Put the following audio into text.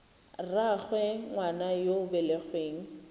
rraagwe ngwana yo o belegweng